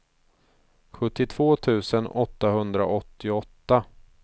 sjuttiotvå tusen åttahundraåttioåtta